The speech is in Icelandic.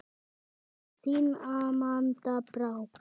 Þín Amanda Brák.